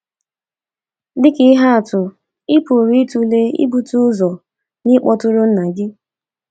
Dị ka ihe atụ, ị pụrụ ịtụle ibute ụzọ n’ịkpọtụrụ nna gị.